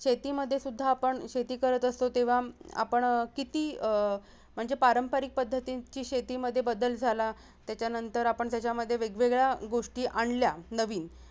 शेतीमध्ये सुध्दा आपण शेती करत असतो तेव्हा हम्म आपण किती अह म्हणजे पारंपरिक पध्छतीची शेतीमध्ये बदल झाला त्याच्यानंतर आपण त्याच्यामध्ये वेगवेगळ्या गोष्टी आणल्या नवीन